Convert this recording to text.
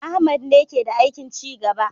Ahmad ne ke da aikin ci gaba